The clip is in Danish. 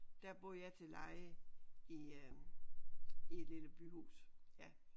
Der bor jeg til leje i øh i et lille byhus ja